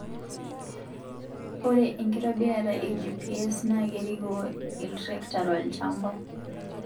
ore inkitoborita ee GPS naa kerikoo iltrekta tolchamba